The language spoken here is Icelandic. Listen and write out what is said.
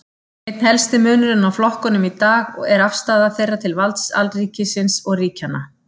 Einn helsti munurinn á flokkunum í dag er afstaða þeirra til valds alríkisins og ríkjanna.